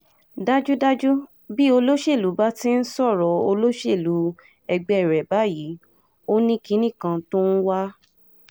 dájúdájú bí olóṣèlú bá ti ń sọ̀rọ̀ olóṣèlú ẹgbẹ́ rẹ̀ báyìí ó ní kinní kan tó ń wá